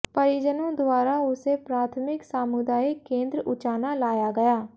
परिजनों द्वारा उसे प्राथमिक सामुदायिक केंद्र उचाना लाया गया